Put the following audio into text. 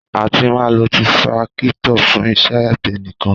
Àtí mà ló Tírákítọ̀ fún ìsẹ àgbẹ níkàn